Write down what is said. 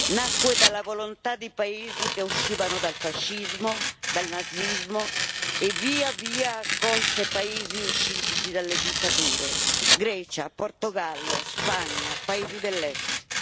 Nacque dalla volontà di paesi che uscivano dal fascismo, dal nazismo e, via via, accolse paesi usciti dalle dittature Grecia, Portogallo, Spagna, paesi dell'Est.